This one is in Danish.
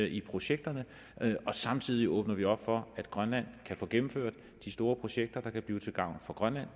i projekterne og samtidig åbner vi op for at grønland kan få gennemført de store projekter der kan blive til gavn for grønland